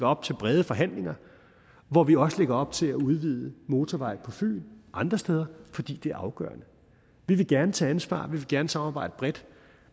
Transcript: op til brede forhandlinger og hvor vi også lægger op til at udvide motorvej på fyn og andre steder fordi det er afgørende vi vil gerne tage ansvar vi vil gerne samarbejde bredt